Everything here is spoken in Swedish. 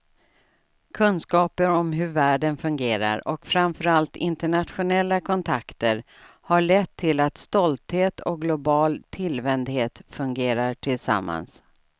Kunskaper om hur världen fungerar, och framförallt internationella kontakter, har lett till att stolthet och global tillvändhet fungerar tillsammans.